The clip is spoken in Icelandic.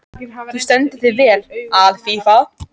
Þú stendur þig vel, Alfífa!